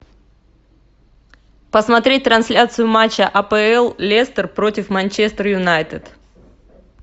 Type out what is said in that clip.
посмотреть трансляцию матча апл лестер против манчестер юнайтед